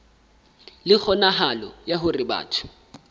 le kgonahalo ya hore batho